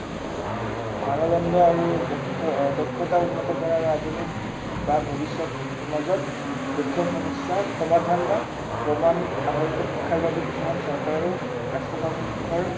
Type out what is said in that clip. মানদণ্ড আৰু দক্ষতা উন্নত কৰাৰ আধুনিক বা ভৱিষ্য়ত সমাজত দক্ষ সমস্য়াৰ সমাধান বা প্ৰমাণ আধাৰিত শিক্ষাৰ বাবে কিছুমান চৰকাৰো ৰাষ্ট্ৰসংঘৰ